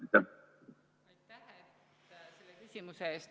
Aitäh küsimuse eest!